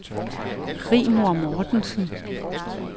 Rigmor Mogensen